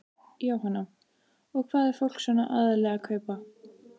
Jóhanna: Og hvað er fólk svona aðallega að kaupa?